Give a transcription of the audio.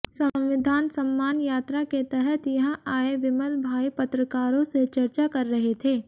संविधान सम्मान यात्रा के तहत यहां आए विमलभाई पत्रकारों से चर्चा कर रहे थे